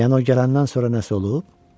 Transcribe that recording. Yəni o gələndən sonra nəsə olub?